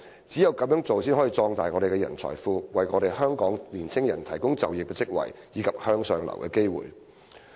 只有這樣才能壯大我們的人才庫，為香港的年輕人提供就業職位和向上流動的機會。